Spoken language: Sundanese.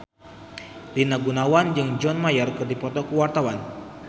Rina Gunawan jeung John Mayer keur dipoto ku wartawan